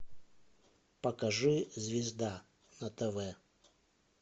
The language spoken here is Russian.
покажи звезда на тв